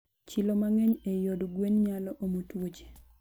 chilo mangeny eiy od gwen nyalo omo twuoche